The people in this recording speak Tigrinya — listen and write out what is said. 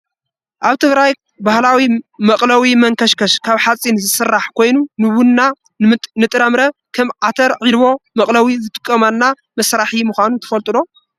ኣብ ትግራይ ባህላዊ መቅለዊ መንከሽከሽ ካብ ሓፂን ዝስራሕ ኮይኑ ንቡና ንጥረምረ ከም ዓተር ዒልቦ መቅለዊ ዝጠቅመና መሳሪሒ ምኳኑ ትፈልጡ ዶ ?